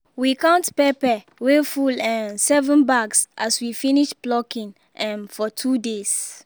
we count pepper wey full um seven bags as we finish plucking um for two days